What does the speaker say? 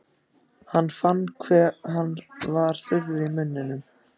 Hann fann hve hann var þurr í munninum.